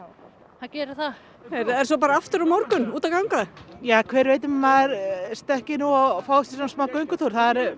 það gerir það heyrðu er svo bara aftur á morgun út að ganga ja hver veit nema maður stökkvi og fái sér smá göngutúr